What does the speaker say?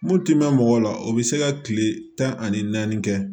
Mun ti mɛn mɔgɔ la o be se ka kile tan ani naani kɛ